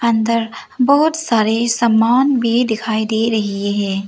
अंदर बहुत सारे सामान भी दिखाई दे रही हैं।